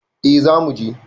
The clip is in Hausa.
A za muje